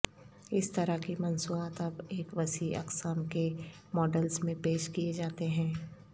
اس طرح کی مصنوعات اب ایک وسیع اقسام کے ماڈلز میں پیش کیے جاتے ہیں